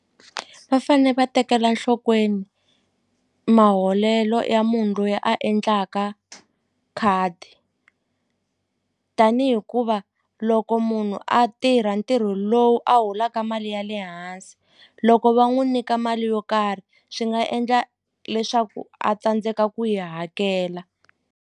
Va fane va tekela nhlokweni maholelo ya munhu loyi a endlaka khadi tani hikuva loko munhu a tirha ntirho lowu a holaka mali ya le hansi loko va n'wu nyika mali yo karhi swi nga endla leswaku a tsandzeka ku yi hakela.